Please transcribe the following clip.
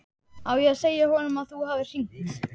Á ég að segja honum að þú hafir hringt?